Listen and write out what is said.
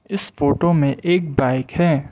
इस फोटो में एक बाइक है।